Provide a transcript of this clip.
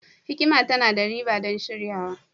hikima tana da riba don shiryarwa